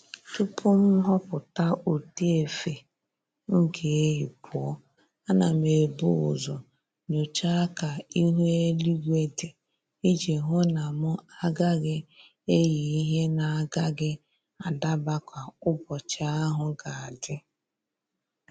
Tupu m ghọpụta ụdị efe m ga-eyi pụọ, ana m ebu ụzọ nyochaa ka ihu eluigwe dị iji hụ na mụ agaghị eyị ihe na-agaghị adaba ka ụbọchị ahụ ga-adị